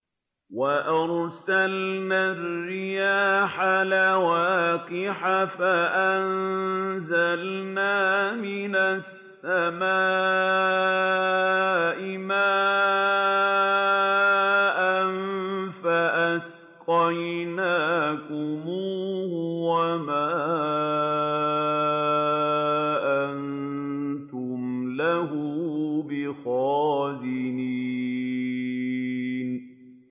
وَأَرْسَلْنَا الرِّيَاحَ لَوَاقِحَ فَأَنزَلْنَا مِنَ السَّمَاءِ مَاءً فَأَسْقَيْنَاكُمُوهُ وَمَا أَنتُمْ لَهُ بِخَازِنِينَ